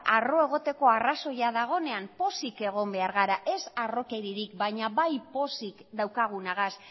harro egoteko arrazoia dagoenean pozik egon behar gara ez harrokeririk baina bai pozik daukagunagaz